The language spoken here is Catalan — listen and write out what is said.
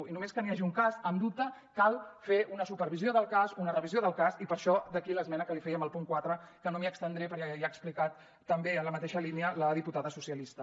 i només que n’hi hagi un cas en dubte cal fer una supervisió del cas una revisió del cas i per això d’aquí l’esmena que li fèiem al punt quatre que no m’hi estendré perquè ja ho ha explicat també en la mateixa línia la diputada socialista